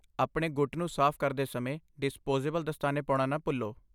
ਆਪਣੇ ਗੁੱਟ ਨੂੰ ਸਾਫ਼ ਕਰਦੇ ਸਮੇਂ ਡਿਸਪੋਜ਼ੇਬਲ ਦਸਤਾਨੇ ਪਾਉਣਾ ਨਾ ਭੁੱਲੋ।